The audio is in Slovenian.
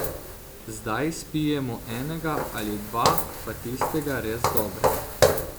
Zdaj spijemo enega ali dva, pa tistega res dobrega.